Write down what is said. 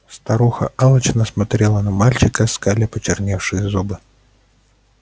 старуха алчно смотрела на мальчика скаля почерневшие зубы